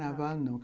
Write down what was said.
Carnaval, não.